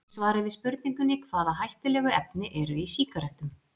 Í svari við spurningunni Hvaða hættulegu efni eru í sígarettum?